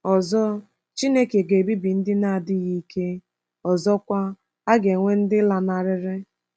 Ọzọ, Chineke ga-ebibi ndị na-adịghị ike, ọzọkwa, a ga-enwe ndị lanarịrị.